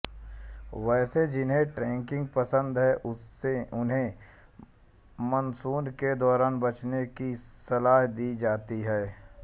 वैसे जिन्हें ट्रैकिंग पसंद है उन्हें मानसून के दौरान बचने की सलाह दी जाती है